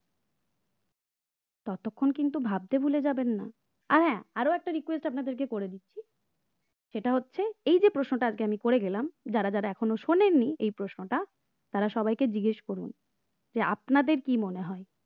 ততক্ষণ কিন্তু ভাবতে ভুলে যাবেন না আর হ্যাঁ আরও একটা request আপনাদের কে করে দিচ্ছি সেটা হচ্ছে এই যে প্রশ্নটা আজকে আমি করে গেলাম যারা যারা এখনো শুনেননি এই প্রশ্নটা তারা সবাইকে জিজ্ঞেস করুন যে আপনাদের কি মনে হয়